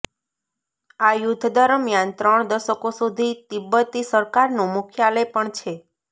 આ યુદ્ધ દરમિયાન ત્રણ દશકો સુધી તિબ્બતી સરકારનું મુખ્યાલય પણ છે